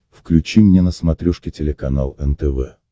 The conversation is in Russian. включи мне на смотрешке телеканал нтв